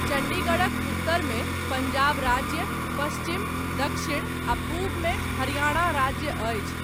चण्डीगढ़क उत्तरमे, पञ्जाब राज्य, पश्चिम, दक्षिण आ पूबमे हरियाणा राज्य अछि।